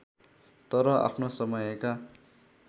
तर आफ्नो समयका